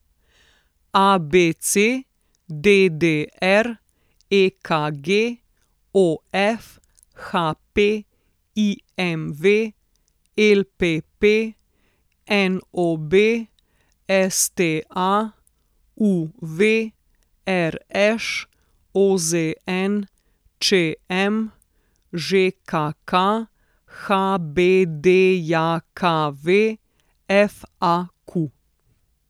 ABC, DDR, EKG, OF, HP, IMV, LPP, NOB, STA, UV, RŠ, OZN, ČM, ŽKK, HBDJKV, FAQ.